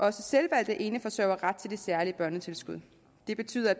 er selvvalgte eneforsørgere ret til det særlige børnetilskud det betyder at